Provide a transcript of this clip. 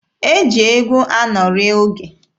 E ji egwu anọrị oge.